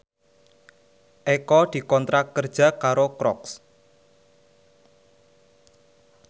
Eko dikontrak kerja karo Crocs